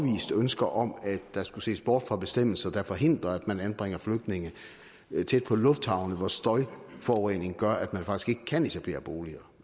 ønsker om at der skulle ses bort fra bestemmelser der forhindrer at man anbringer flygtninge tæt på lufthavne hvor støjforureningen gør at man faktisk ikke kan etablere boliger